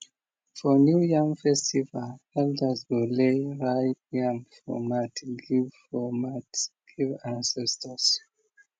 for new yam festival elders go lay ripe yam for mat give for mat give ancestors